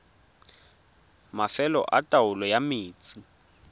mafelo a taolo ya metsi